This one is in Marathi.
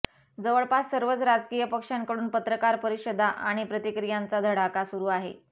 जवळपास सर्वच राजकीय पक्षांकडून पत्रकार परिषदा आणि प्रतिक्रियांचा धडाका सुरु आहे